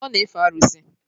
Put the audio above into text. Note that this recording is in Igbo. Ọ na-efe arụsị